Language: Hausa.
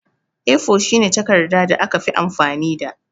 A4 shine takarɗa da aka fi amfani da.